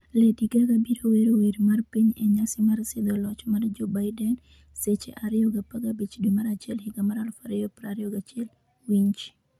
, Lady Gaga biro wero wer mar piny e nyasi mar sidho loch mar Joe Biden, Seche 2,0015 dwe mar achiel higa mar 2021 Winj,